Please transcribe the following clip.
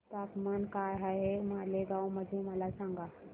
तापमान काय आहे मालेगाव मध्ये मला सांगा